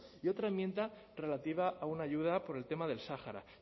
y otra enmienda relativa a una ayuda por el tema del sáhara